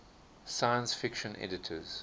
science fiction editors